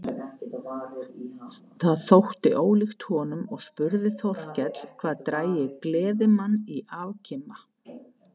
Það þótti þeim ólíkt honum og spurði Þórkell hvað drægi gleðimann í afkima.